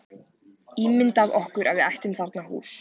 Ímyndað okkur að við ættum þarna hús.